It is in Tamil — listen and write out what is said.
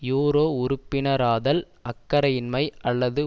யூரோ உறுப்பினராதல் அக்கறையின்மை அல்லது